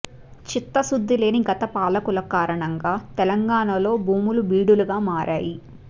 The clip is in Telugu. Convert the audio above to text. చిత్తశుద్ధి లేని గత పాలకుల కారణంగా తెలంగాణలో భూములు బీడులుగా మారాయి